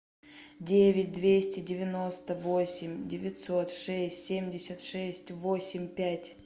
девять двести девяносто восемь девятьсот шесть семьдесят шесть восемь пять